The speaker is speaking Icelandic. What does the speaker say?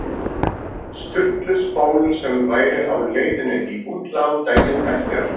Sturlu spólu sem væri á leiðinni í útlán daginn eftir.